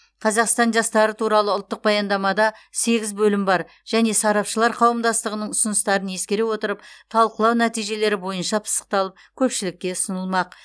қазақстан жастары туралы ұлттық баяндамада сегіз бөлім бар және сарапшылар қауымдастығының ұсыныстарын ескере отырып талқылау нәтижелері бойынша пысықталып көпшілікке ұсынылмақ